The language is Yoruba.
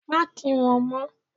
Má kí wọn mó!